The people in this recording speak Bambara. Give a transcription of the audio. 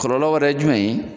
Kɔlɔlɔ wɛrɛ ye jumɛn ye